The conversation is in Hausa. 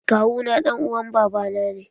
Kawu na ɗan uwan babana ne